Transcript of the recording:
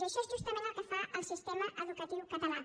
i això és justament el que fa el sistema educatiu català